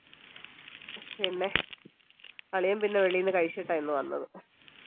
പിന്നെ അളിയൻ പിന്നെ വെളിയിൽന്ന് കഴിച്ചിട്ടാ ഇന്ന് വന്നത്